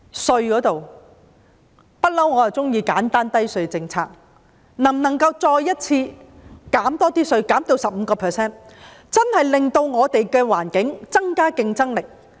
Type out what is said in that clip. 稅務方面，我一向喜歡簡單低稅政策，能否再次降低稅率至 15%， 真的令我們的環境增加競爭力？